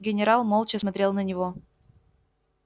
генерал молча смотрел на него